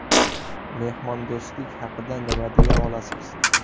Mehmondo‘stlik haqida nima deya olasiz?